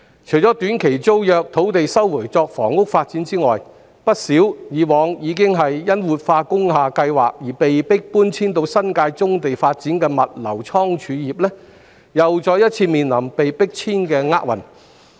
除了短期租約土地被收回作房屋發展外，以往曾因活化工廈計劃而被迫遷往新界棕地發展的不少物流倉儲業公司，亦再次面臨被迫遷的厄運。